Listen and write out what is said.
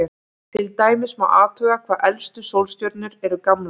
Til dæmis má athuga hvað elstu sólstjörnur eru gamlar.